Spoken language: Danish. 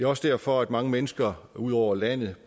også derfor mange mennesker ud over landet